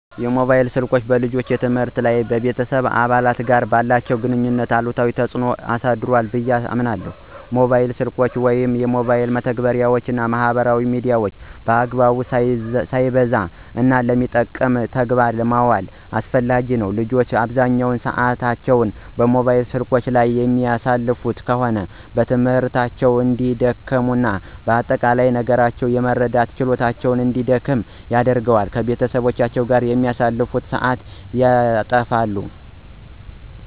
ሞባይል ስልኮች በልጆች የትምህርት ላይ ወይም ከቤተሰብ አባላት ጋር ባላቸው ግንኙነት ላይ አሉታዊ ተጽዕኖ አሳድሯ ብየ አምናለሁ። ሞባይል ስልኮችን ወይም የሞባይል መተግበሪያወችን እና ማህበራዊ ሚዲያን በአግባቡ፣ ሳይበዛ፣ እና ለሚጠቅም ተግባር ማዋል አስፈላጊ ነው። ልጆች አብዛኛውን ሰአታቸውን ሞባይል ስልኮች ላይ የሚያሳልፉ ከሆነ በትምህርታቸው እንዲደክሙ እና አጠቃላይ ነገሮችን የመረዳት ችሎታቸውን እንዲደክም ያደርገዋል። ከቤተሰቦቻቸው ጋር የሚያሳልፉትን ሰአትም ያተፋል።